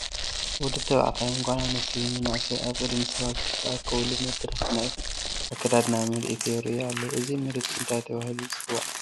ወዲ ተባዕታይን ጓል ኣነስተይትን መናእሰያት ኣብ ቅድሚ ሰባት ዝተኣከቡሉ መድረኽ ናይ ኣከዳድና ምርኢት የርእዩ ኣለዉ፡፡ እዚ ምርኢት እንታይ ተባሂሉ ይፅዋዕ?